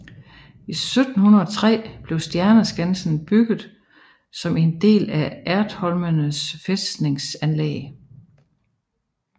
I 1703 blev Stjerneskansen bygget som en del af Ertholmenes fæstningsanlæg